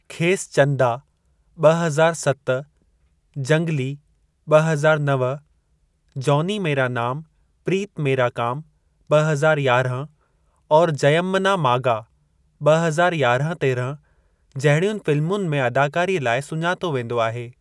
खेसि चंदा (ब॒ हज़ार सत), जंगली (ब॒ हज़ार नव), जॉनी मेरा नाम प्रीति मेरा काम (ब॒ हज़ार यारहं) और जयम्मना मागा (ब॒ हज़ार यारहं तेरहं) जहिड़ियुनि फ़िल्मुनि में अदाकारीअ लाइ सुञातो वेंदो आहे।